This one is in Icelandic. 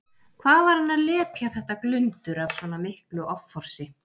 Hvað var hann að lepja þetta glundur af svona miklu offorsi!